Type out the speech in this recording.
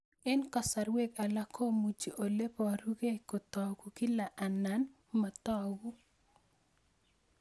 Eng' kasarwek alak komuchi ole parukei kotag'u kila anan matag'u